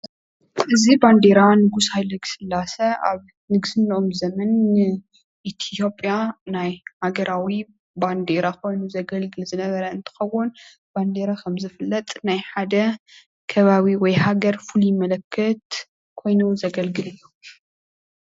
እዚ ባንደራ ንጉስ ሃይለስላሴ ኣብ ንግስነኦም ዘመን ንኢትዮጵያ ናይ ሃገራዊ ባንደራ ኮይኑ ዘገልግል ዝነበረ እንትከውን ባንደራ ከም ዝፍለጥ ናይ ሓደ ከባቢ ወይ ሃገር ፍሉይ ምልክት ኮይኑ ዘገልግል እዩ፡፡